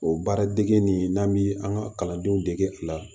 O baara dege nin n'an bi an ka kalandenw dege a la